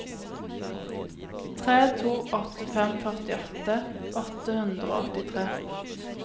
tre to åtte fem førtiåtte åtte hundre og åttitre